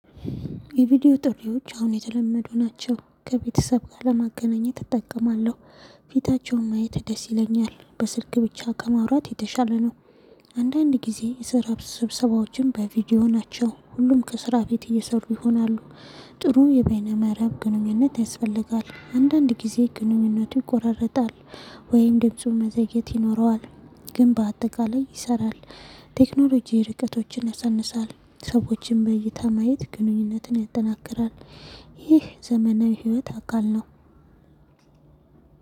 የቪዲዮ ጥሪዎች አሁን የተለመዱ ናቸው። ከቤተሰብ ጋር ለማገናኘት እጠቀማለሁ። ፊታቸውን ማየት ደስ ይለኛል። በስልክ ብቻ ከማውራት የተሻለ ነው። አንዳንድ ጊዜ የስራ ስብሰባዎች በቪዲዮ ናቸው ሁሉም ከስራ ቤት እየሰሩ ይሆናሉ። ጥሩ የቤይነ መረብ ግንኙነት ያስፈልጋል። አንዳንድ ጊዜ ግንኙነቱ ይቆራረጣል ወይም ድምጹን መዘየት ይኖረዋል። ግን በአጠቃላይ ይሰራል። ቴክኖሎጂ ርቀቶችን ያሳንሳል። ሰዎችን በይታ ማየት ግንኙነትን ያጠናክራል። ይህ ዘመናዊ ህይወት አካል ነው።